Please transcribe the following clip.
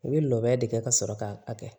U bɛ lɔgɔ de kɛ ka sɔrɔ k'a kɛ